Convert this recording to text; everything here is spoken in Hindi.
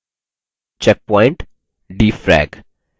checkpoint defrag